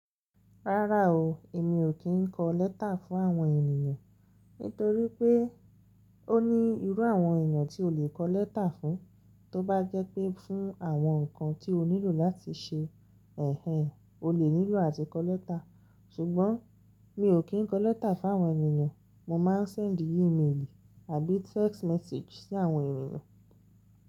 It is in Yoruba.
Rárá o, èmi ò kí ń kọ letter fún àwọn ènìyàn. Nítorí pé ó ní irú àwọn ènìyàn tí o lè kọ lẹ́tà fún. Tó bá jẹ́ pé fún àwọn nǹkan tí o nílò láti ṣe. Èhé, o lè nílò àti kọ lẹ́tà. Sùgbọ́n mi ò kí ń kọ lẹ́tà fún àwọn ènìyàn. Mo máa ń send email àbí text message sí àwọn ènìyàn.